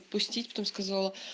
пустить потом сказала